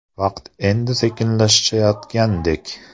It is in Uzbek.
Vaqt endi sekinlashayotgandek.